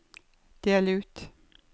del ut